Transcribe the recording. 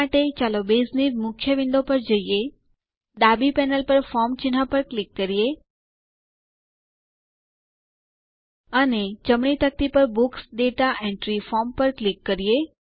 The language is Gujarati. આ માટે ચાલો બેઝની મુખ્ય વિન્ડો પર જઈએ ડાબી પેનલ પર ફોર્મ ચિહ્ન પર ક્લિક કરીએ અને જમણી તકતી પર બુક્સ દાતા એન્ટ્રી ફોર્મ પર ક્લિક કરો